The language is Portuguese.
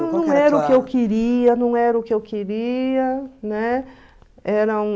Eu não era o que eu queria, não era o que eu queria, né? Era um...